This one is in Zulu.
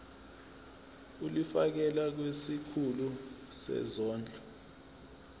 ulifiakela kwisikulu sezondlo